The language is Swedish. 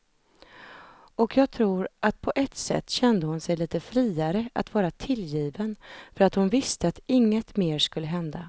Och jag tror att på ett sätt kände hon sig lite friare att vara tillgiven för att hon visste att inget mer skulle hända.